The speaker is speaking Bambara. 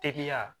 Teriya